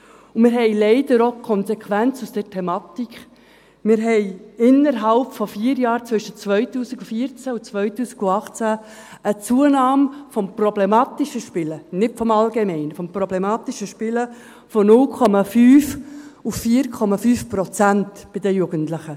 Und wir haben leider auch die Konsequenz aus der Thematik: Wir hatten innerhalb von vier Jahren, zwischen 2014 und 2018, eine Zunahme des problematischen Spielens – nicht des allgemeinen, sondern des problematischen Spielens – von 0,5 auf 4,5 Prozent bei den Jugendlichen.